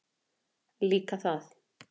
Líka það.